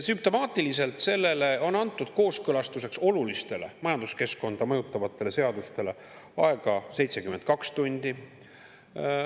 Sümptomaatiliselt sellele on olulistele majanduskeskkonda mõjutavatele seadusde kooskõlastuseks antud aega 72 tundi.